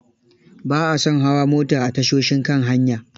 Ba a son hawa mota a tashoshin kan hanya.